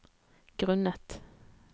grunnet